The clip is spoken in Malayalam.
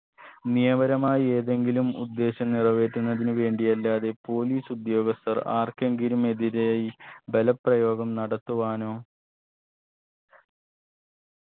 നിയമപരമായി ഏതെങ്കിലും ഉദ്ദേശം നിറവേറ്റുന്നതിന് വേണ്ടി അല്ലാതെ police ഉദ്യോഗസ്ഥർ ആർക്കെങ്കിലും എതിരെയായി ബലപ്രയോഗം നടത്തുവാനോ